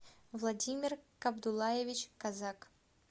владимир кабдуллаевич козак